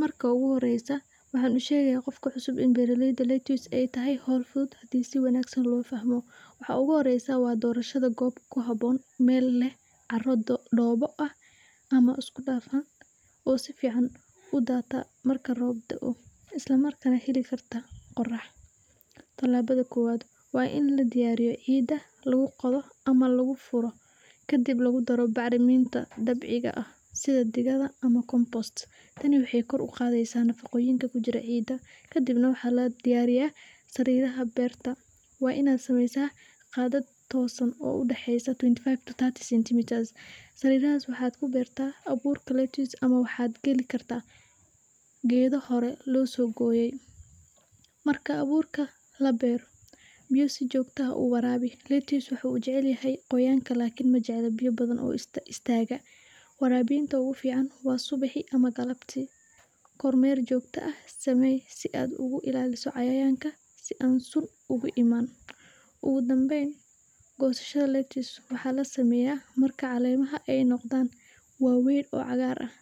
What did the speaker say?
Marka ugu horeysa waxaa lasheega qofka cusub in beeraleyda aay tahay howl fudud hadii si wanagsan loo fahmo, waxa ugu horeysa waa dorasho goob ku haboon meel leh cara doobo ah ama isku dafan, oo sifican udaata marka roob daao, isla markaana xiri karta qorax, tilaabada kowaad waa in la diyaariyo ciida lagu qodo ama lagu furo, kadib lagu daro bacraminta dabiiciga ah sida digada ama, tani waxeey kor uqaadeysa nafaqooyinka kujira ciida kadibna waxaa la diyaariya sariidaha beerta, waa inaad sameeysa qadad toosan oo udaxeeya, sariiranaas waxaa ku beerta abuur ama waxaad gelin kartaa geedo lasoo gooye, marka abuurka la beero, biya si joogta ah u waraabi, geedka wuxuu jecel yahay qoyaanka, waraabinta ugu fican waa subaxi ama galabti, kor meer joogta ah, samee si aad uga ilaaliso cayayaanka si aan sun uga imaan, ugu danbeyn goosashada waxaa la sameeya marka caleemaha aay noqdaan kuwa waweyn oo cagaaran,